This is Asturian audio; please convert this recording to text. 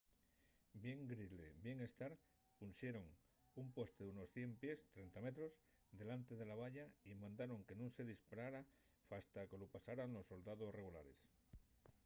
bien gridley bien stark punxeron un poste d’unos 100 pies 30 m delantre de la valla y mandaron que nun se disparara fasta que lu pasaran los soldaos regulares